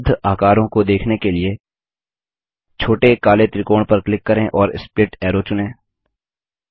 उपलब्ध आकरों को देखने के लिए छोटे काले त्रिकोण पर क्लिक करें और स्प्लिट अरो चुनें